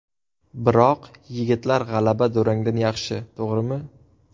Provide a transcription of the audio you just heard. Biroq yigitlar g‘alaba durangdan yaxshi, to‘g‘rimi?